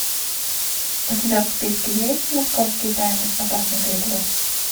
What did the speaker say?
у тебя в списке есть московские тайны опасный переплет